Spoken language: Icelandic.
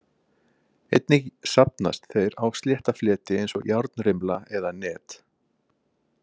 Einnig safnast þeir á slétta fleti eins og járnrimla eða net.